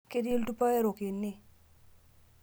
Keti ltupa erok ene